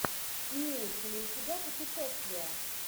имеется ли у тебя путешествия